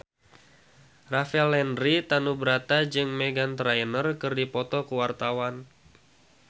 Rafael Landry Tanubrata jeung Meghan Trainor keur dipoto ku wartawan